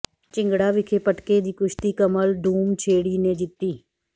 ਿਝੰਗੜਾ ਵਿਖੇ ਪਟਕੇ ਦੀ ਕੁਸ਼ਤੀ ਕਮਲ ਡੂਮਛੇੜੀ ਨੇ ਜਿੱਤੀ